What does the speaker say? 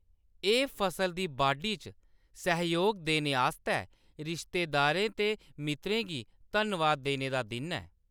एह्‌‌ फसल दी बाढी च सैहयोग देने आस्तै रिश्तेदारें ते मित्तरें गी धन्नवाद देने दा दिन ऐ।